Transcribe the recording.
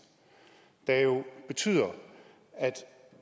der jo betyder at